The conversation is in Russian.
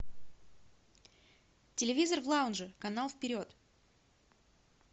телевизор в лаунже канал вперед